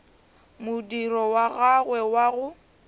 modiro wa gagwe wa go